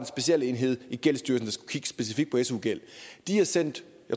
specialenhed i gældsstyrelsen der skulle kigge specifikt på su gæld de har sendt